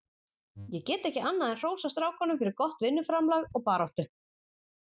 Ég get ekki annað en hrósað strákunum fyrir gott vinnuframlag og baráttu.